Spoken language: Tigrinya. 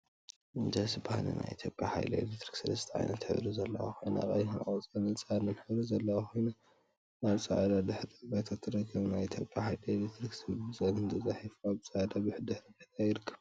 ደስ በሃሊ! ናይ ኢትዮጵያ ሓይሊ ኤሌክትሪክ ሰለስተ ዓይነት ሕብሪ ዘለዋ ኮይና፤ ቀይሕ፣ ቆፃልን ፃዕዳን ሕብሪ ዘለዋ ኮይና አብ ፃዕዳ ድሕረ ባይታ ትርከብ፡፡ ናይ ኢትዮጵያ ሓይሊ ኤሌክትሪክ ዝብል ብፀሊም ተፃሒፉ አብ ፃዕዳ ድሕረ ባይታ ይርከብ፡፡